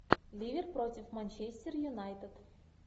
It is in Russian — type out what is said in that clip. ливер против манчестер юнайтед